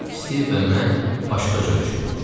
Stiv və mən başqa cür düşünürdük.